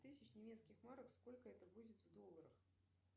тысяч немецких марок сколько это будет в долларах